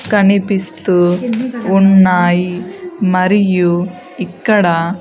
కనిపిస్తూ ఉన్నాయి మరియు ఇక్కడ.